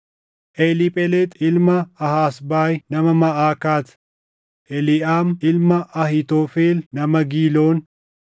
Eliiphelexi ilma Ahasbaayi nama Maʼakaat, Eliʼaam ilma Ahiitofel nama Giiloon,